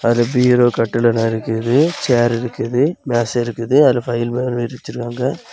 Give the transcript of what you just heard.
இங்க பீரோ கட்டில் எல்லாம் இருக்குது சேர் இருக்குது மேசை இருக்குது அதுல ஃபைல்மாரி விரிச்சிருகாங்க.